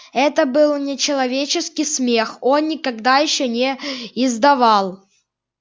это был нечеловеческий смех он никогда ещё не издавал